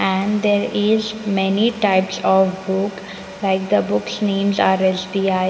And there is many types of book like the books names are S_B_I.